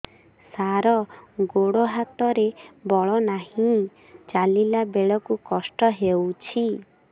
ସାର ଗୋଡୋ ହାତରେ ବଳ ନାହିଁ ଚାଲିଲା ବେଳକୁ କଷ୍ଟ ହେଉଛି